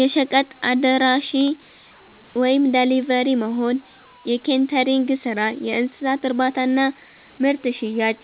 የሸቀጥ አድራሺ(ደሊቨሪ)መሆን፣ የኬተሪንግ ስራ፣ የእንስሳት እርባታና ምርት ሽያጭ